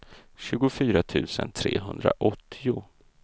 tjugofyra tusen trehundraåttio